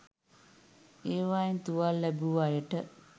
ඒවයින් තුවාල ලැබූ අයට